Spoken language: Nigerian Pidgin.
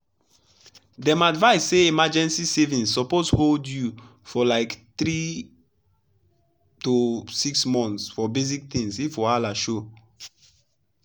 dem advise say emergency savings suppose hold you for like three to six months for basic things if wahala show.